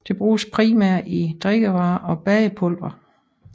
Det bruges primært i drikkevarer og bagepulvere